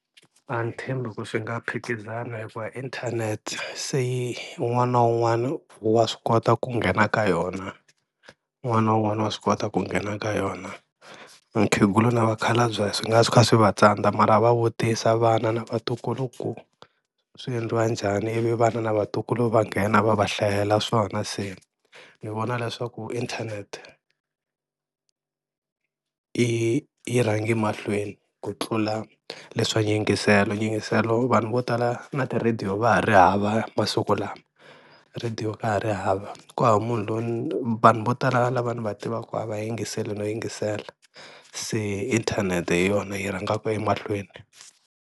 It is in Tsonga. A ni tshembi ku swi nga phikizana hikuva inthanete se un'wana na un'wana wa swi kota ku nghena ka yona un'wana na un'wana wa swi kota ku nghena ka yona, vakhegula na vakhalabye swi nga suka swi va tsandza mara va vutisa vana na vatukulu ku swi endliwa njhani ivi vana na vatukulu va nghena va va hlayela swona, se ni vona leswaku inthanete i yi rhangi mahlweni ku tlula leswa yingiselo, yingiselo vanhu vo tala na ti-radio va ha ri hava masiku lama radio ka ha ri hava, ku hava munhu loyi vanhu vo tala lava ni va tivaka a va yingiseli no yingisela se inthanete hi yona yi rhangaka emahlweni.